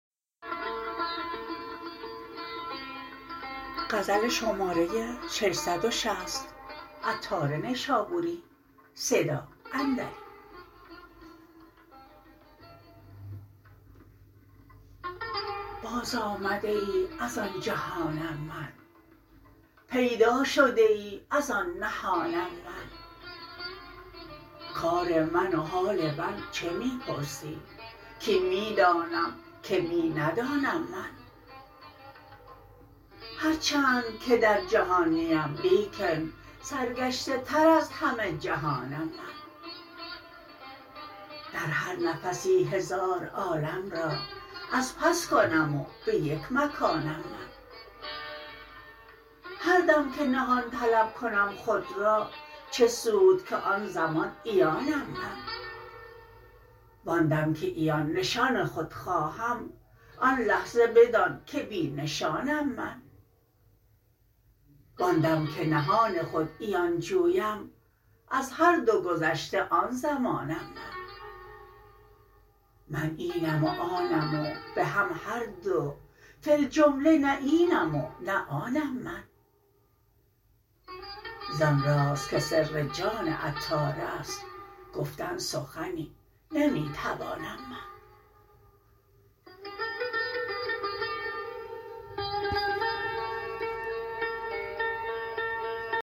باز آمده ای از آن جهانم من پیدا شده ای از آن نهانم من کار من و حال من چه می پرسی کین می دانم که می ندانم من هرچند که در جهان نیم لیکن سرگشته تر از همه جهانم من در هر نفسی هزار عالم را از پس کنم و به یک مکانم من هر دم که نهان طلب کنم خود را چه سود که آن زمان عیانم من وآن دم که عیان نشان خود خواهم آن لحظه بدان که بی نشانم من وان دم که نهان خود عیان جویم از هر دو گذشته آن زمانم من من اینم و آنم و به هم هردو فی الجمله نه اینم و نه آنم من زان راز که سر جان عطار است گفتن سخنی نمی توانم من